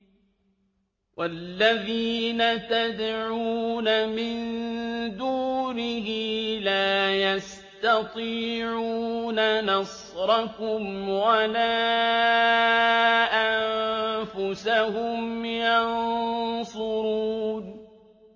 وَالَّذِينَ تَدْعُونَ مِن دُونِهِ لَا يَسْتَطِيعُونَ نَصْرَكُمْ وَلَا أَنفُسَهُمْ يَنصُرُونَ